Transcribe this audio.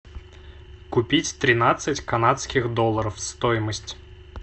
купить тринадцать канадских долларов стоимость